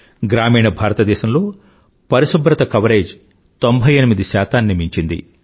గ్రామీణ భారతదేశంలో పరిశుభ్రత కవరేజ్ 98 ని మించింది